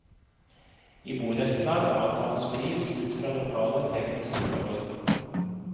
I borettslag avtales pris ut fra lokale tekniske forhold.